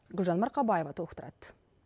гүлжан марқабаева толықтырады